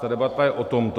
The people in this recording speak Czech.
Ta debata je o tomto.